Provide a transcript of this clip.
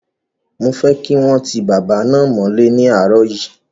Mo fẹ́ kí wọ́n ti bàbá náà mọ́lẹ́ ní àárọ̀ yìí!